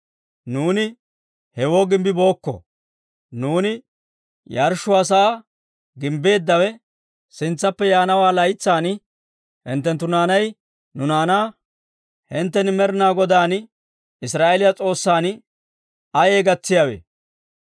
Nuuni hewoo gimbbibookko; nuuni yarshshuwaa sa'aa gimbbeeddawe, sintsaappe yaana laytsan hinttenttu naanay nu naanaa, ‹Hinttena Med'ina Godaan Israa'eeliyaa S'oossan ayee gatsiyaawe?